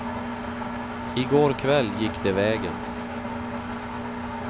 I går kväll gick det vägen.